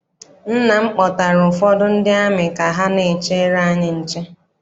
Nna m kpọtara ụfọdụ ndị amị ka ha n'echere anyị nche.